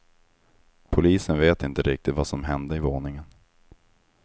Polisen vet inte riktigt vad som hände i våningen.